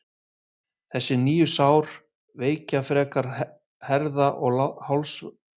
þessi nýju sár veikja frekar herða og hálsvöðva nautsins